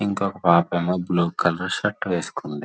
ఇంకొక పాపేమో blue colour shirt వేసుకుంది.